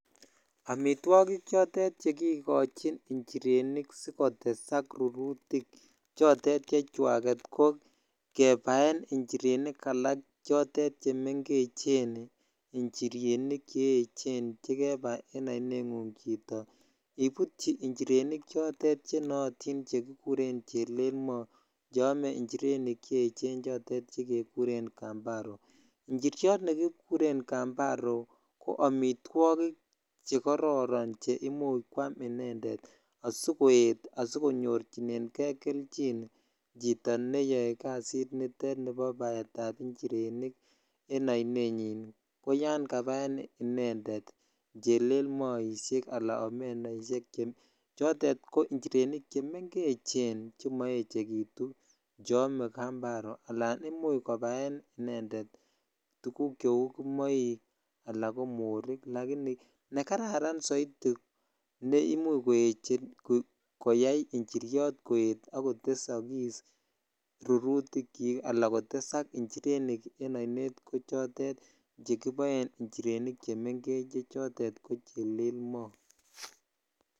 Amitwokik chotet chekikochin njirenik sikotesak rurutik chotet chechwaket ko kebaen njirenik alak chotet chemeng'echen njirenik che echen chekebai en oinengung chito ibutyi nchirenik chotet chenotin chekikuren chelelmo cheome njirenik che echen chotet chekekuren kambaro, njiriot nekikuren kambaro ko amitwokik chekororon cheimuch kwaam inendet asikoet asikonyorchinenge kelchin chito neyoe kasit nitet nibo baetab nchirenik en oinenyin ko yoon kabaen inendet chelelmoishek alaan omenaishek che chotet ko njirenik chemengechen chemoechekitu cheome kambaro alaan imuch kobaen inendet tukuk cheuu kimoik alaan ko morik, lakini nekararan soiti neimuch koyai njiriot koet ak kotesokis rurutikyik alaa kotesak njirenik en oinet ko chotet chekiboen njirenik chemengech che chotet ko chelelmo.